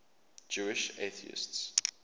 jewish atheists